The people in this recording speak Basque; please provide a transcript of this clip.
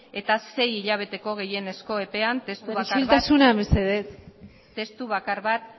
eta sei hilabeteko gehienezko epean testu bakar bat isiltasuna mesedez testu bakar bat